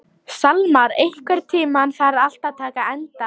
Salmar, einhvern tímann þarf allt að taka enda.